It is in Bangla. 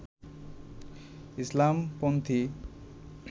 ইসলাম-পন্থী